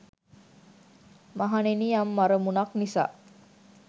මහණෙනි යම් අරමුණක් නිසා